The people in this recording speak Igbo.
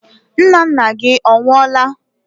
Nnanna gị ọ nwụọla?